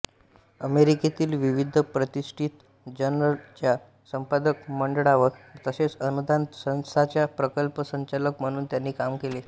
अमेरिकेतील विविध प्रतिष्ठित जर्नलच्या संपादक मडळावर तसेच अनुदान संस्थांचा प्रकल्प संचालक म्हणून त्यांनी काम केले